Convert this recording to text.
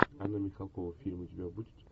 анна михалкова фильм у тебя будет